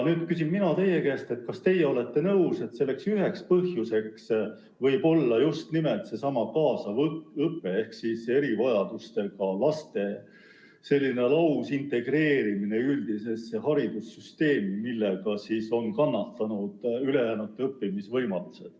Nüüd küsin mina teie käest, kas teie olete nõus, et üks põhjus võib olla just nimelt seesama kaasav õpe ehk erivajadustega laste lausintegreerimine üldisesse haridussüsteemi, nii et seetõttu on kannatanud ülejäänute õppimisvõimalused.